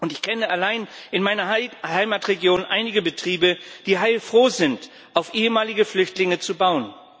Ich kenne allein in meiner Heimatregion einige Betriebe, die heilfroh sind, auf ehemalige Flüchtlinge zu bauen.